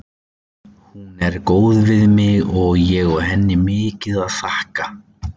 Hún er góð við mig og ég á henni mikið að þakka.